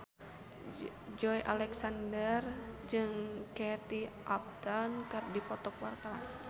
Joey Alexander jeung Kate Upton keur dipoto ku wartawan